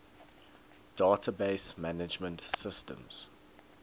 database management systems